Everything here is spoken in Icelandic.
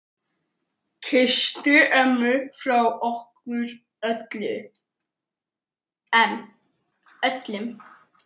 Kysstu ömmu frá okkur öllum.